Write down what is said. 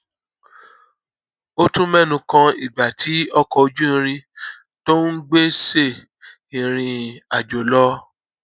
ó tún ménu kan ìgbà tí ọkọ ojú irin tó ń gbé ṣe ìrìn àjò lọ